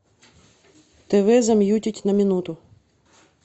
тв замьютить на минуту